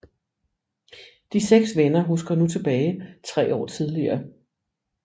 De 6 venner husker nu tilbage 3 år tidligere